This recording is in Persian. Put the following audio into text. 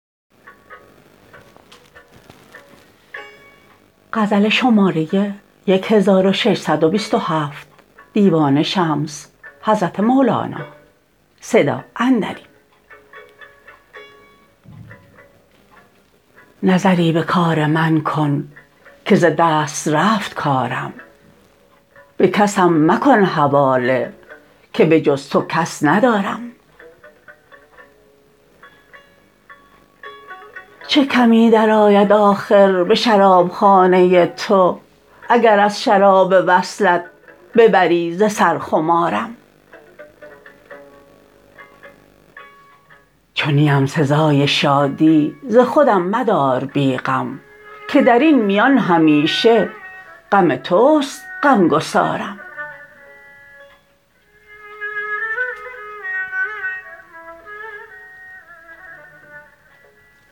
نظری به کار من کن که ز دست رفت کارم به کسم مکن حواله که به جز تو کس ندارم چه کمی درآید آخر به شرابخانه تو اگر از شراب وصلت ببری ز سر خمارم چو نیم سزای شادی ز خودم مدار بی غم که در این میان همیشه غم توست غمگسارم